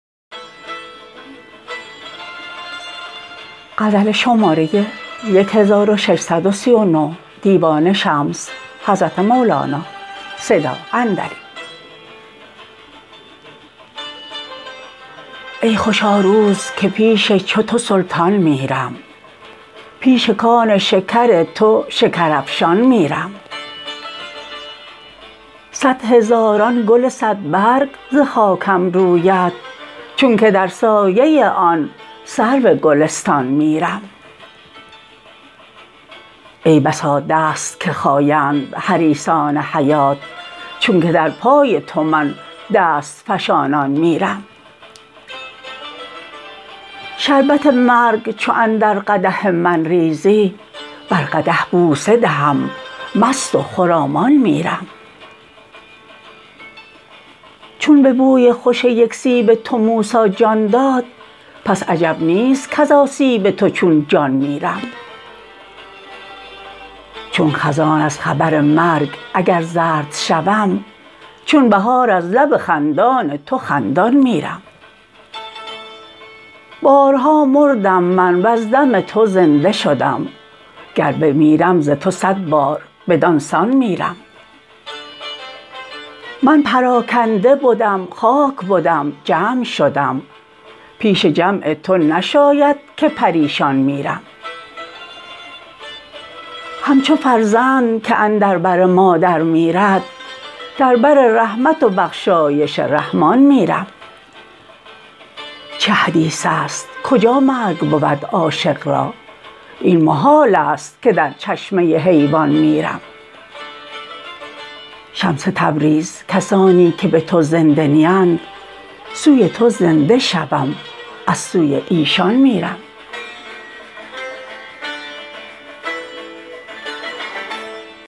ای خوشا روز که پیش چو تو سلطان میرم پیش کان شکر تو شکرافشان میرم صد هزاران گل صدبرگ ز خاکم روید چونک در سایه آن سرو گلستان میرم ای بسا دست که خایند حریصان حیات چونک در پای تو من دست فشانان میرم شربت مرگ چو اندر قدح من ریزی بر قدح بوسه دهم مست و خرامان میرم چون به بوی خوش یک سیب تو موسی جان داد پس عجب نیست کز آسیب تو چون جان میرم چون خزان از خبر مرگ اگر زرد شوم چون بهار از لب خندان تو خندان میرم بارها مردم من وز دم تو زنده شدم گر بمیرم ز تو صد بار بدان سان میرم من پراکنده بدم خاک بدم جمع شدم پیش جمع تو نشاید که پریشان میرم همچو فرزند که اندر بر مادر میرد در بر رحمت و بخشایش رحمان میرم چه حدیث است کجا مرگ بود عاشق را این محالست که در چشمه حیوان میرم شمس تبریز کسانی که به تو زنده نیند سوی تو زنده شوم از سوی ایشان میرم